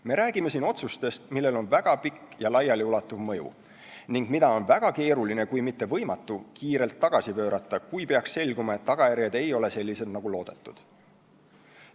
Me räägime siin otsustest, millel on väga pikk ja laialiulatuv mõju ning mida on väga keeruline kui mitte võimatu kiirelt tagasi pöörata, kui peaks selguma, et tagajärjed ei ole sellised, nagu loodetud.